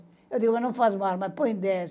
Eu digo, eu não faço mais, mas põe dez.